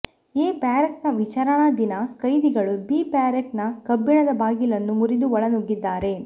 A barrack ನ ವಿಚಾರಣಾಧೀನ ಕೈದಿಗಳು ಬಿ ಬ್ಯಾರೆಕ್ ನ ಕಬ್ಬಿಣದ ಬಾಗಿಲನ್ನು ಮುರಿದು ಒಳ ನುಗ್ಗಿದ್ದಾರೆ